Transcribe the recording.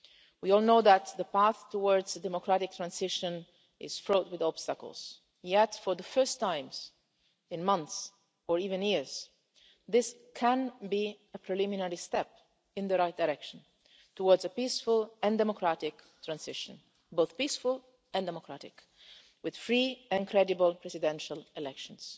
We all know that the path towards a democratic transition is fraught with obstacles, yet for the first time in months, or even years, this can be a preliminary step in the right direction towards a peaceful and democratic transition, both peaceful and democratic, with free and credible presidential elections.